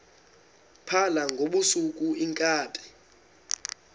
phala ngobusuku iinkabi